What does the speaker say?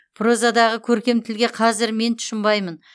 прозадағы көркем тілге қазір мен тұщынбаймын